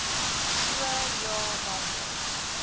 so ja watter